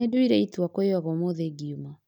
Nĩnduire itua kwĩyoga ũmũthĩ ngiuma